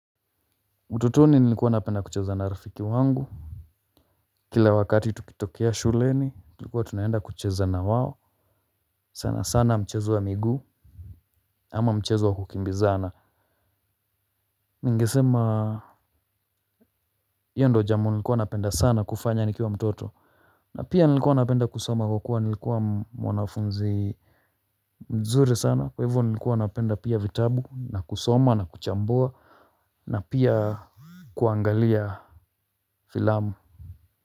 Ututoni nilikuwa napenda kucheza na rafiki wangu. Kila wakati tukitokea shuleni tulikuwa tunaenda kucheza na wao. Sana sana mchezo wa miguu ama mchezo wa kukimbizana. Ningesema, hiyo ndo jambo nilikuwa napenda sana kufanya nikiwa mtoto. Na pia nilikuwa napenda kusoma kwa kuwa nilikuwa mwanafunzi mzuri sana kwa hivyo nilikuwa napenda pia vitabu na kusoma na kuchambua. Na pia kuangalia filamu.